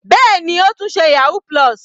Bẹ́ẹ̀ni, ó tún ṣe yahoo+.